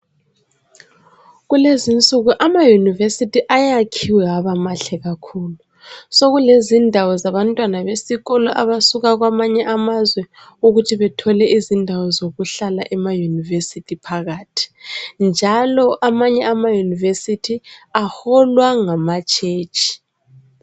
Kulezinsuku amayunibesithi ayakhiwe abamahle kakhulu. Sekulezindawo zabantwana besikolo abasuka kwamanye amazwe ukuthi bethole izindawo zokuhlala emaYunivesithi phakathi. Njalo. amanye amayunivesithi aholwa ngamatshetshi.